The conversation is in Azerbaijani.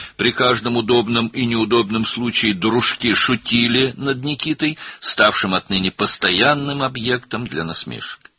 Hər bir münasib və əlverişsiz vəziyyətdə dostları, o vaxtdan etibarən lağ obyektinə çevrilmiş Nikitaya zarafat edirdilər.